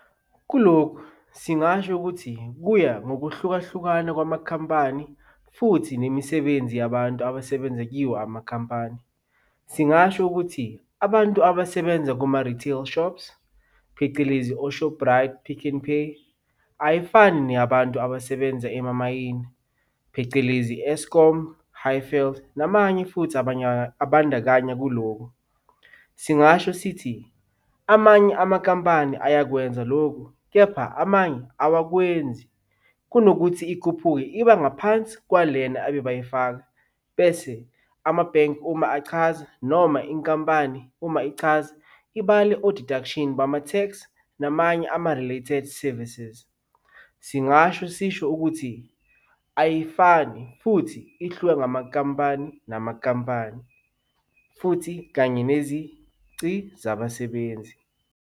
Kulokhu singasho ukuthi kuya ngokuhlukahlukana kwamakhampani futhi nemisebenzi yabantu abasebenza kiwo amakhampani. Singasho ukuthi abantu abasebenza kuma-retail shops, phecelezi o-Shoprite, PicknPay, ayifani neyabantu abasebenza emamayini, phecelezi Eskom, Hayfield namanye futhi abandakanya kulokhu. Singasho sithi amanye amakampani ayekwenza lokhu, kepha amanye awakwenzi, kunokuthi ikhuphuke iba ngaphansi kwalena abebayifaka, bese amabhenki uma achaza noma inkampani uma ichaza, ibale o-deduction bama-tax, namanye ama-related services. Singasho sisho ukuthi ayifani futhi ihluke ngamakampani namakampani futhi kanye nezici zabasebenzi.